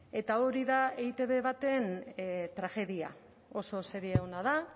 eta hori da eitb baten tragedia oso serie ona da